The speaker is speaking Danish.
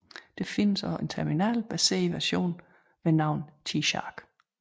Der findes også en terminal baseret version ved navn TShark